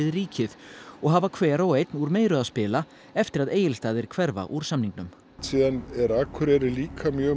ríkið og hafa hver og einn úr meiru að spila eftir að Egilsstaðir hverfa úr samningnum síðan er Akureyri líka mjög